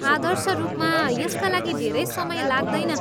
आदर्श रूपमा, यसका लागि धेरै समय लाग्दैन।